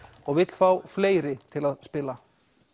og vill fá fleiri til að spila